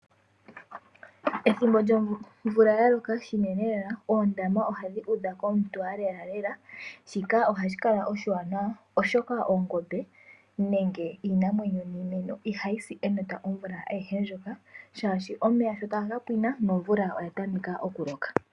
Ethimbo lyomvula yaloka Lela lela oondama ohadhi udha komutwaa lela lela. Shika oha shi kala oshiwanawa oshoka iinamwenyo yimwe ngaashi oongombe ohadhi si enota omvula ayihe ndjoka haashi omeya sho taga ka pwina nomvula oya tameka oku loka.